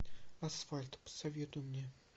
асфальт посоветуй мне